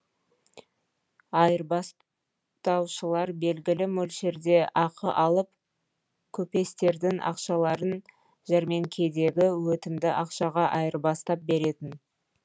айырбастаушылар белгілі мөлшерде ақы алып көпестердің ақшаларын жәрмеңкедегі өтімді ақшаға айырбастап беретін